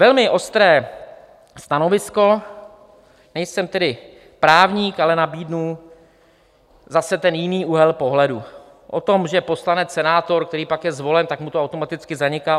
Velmi ostré stanovisko - nejsem tedy právník, ale nabídnu zase ten jiný úhel pohledu o tom, že poslanec, senátor, který pak je zvolen, tak mu to automaticky zaniká.